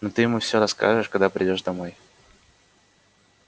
но ты ему всё расскажешь когда придёшь домой